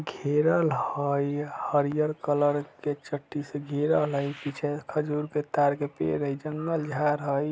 घेरल हई हरियल कलर के चट्टी से घेरल हई पीछे खजूर के ताड़ के पेड़ हई जंगल झार हई।